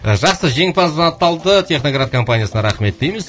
жақсы жеңімпаз анықталды техноград компаниясына рахмет дейміз